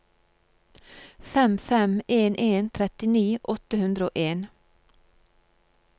fem fem en en trettini åtte hundre og en